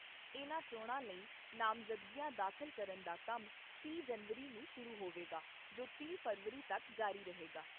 ਇਨ੍ਹਾਂ ਚੋਣਾਂ ਲਈ ਮਜ਼ਦਗੀਆਂ ਦਾਖਲ ਕਰਨ ਦਾ ਕੰਮ ਤੀਹ ਜਨਵਰੀ ਨੂੰ ਸ਼ੁਰੂ ਹੋਵੇਗਾ ਜੋ ਤਿੰਨ ਫ਼ਰਵਰੀ ਤੱਕ ਜਾਰੀ ਰਹੇਗਾ।